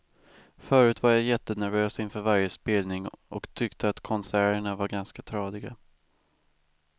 Förut var jag jättenervös inför varje spelning och tyckte att konserterna var ganska tradiga.